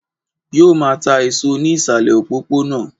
Yóò máa ta èso ní ìsàlè òpópónà